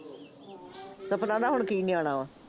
ਸਪਨਾ ਦਾ ਹੁਣ ਕੀ ਨਿਆਣਾ ਵਾ